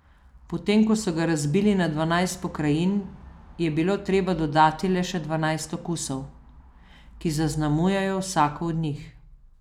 Potem ko so ga razbili na dvanajst pokrajin, je bilo treba dodati le še dvanajst okusov, ki zaznamujejo vsako od njih.